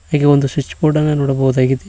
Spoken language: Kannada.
ಹಾಗೇ ಒಂದು ಸ್ವಿಚ್ ಬೋರ್ಡನ್ನು ನೋಡಬಹುದಾಗಿದೆ.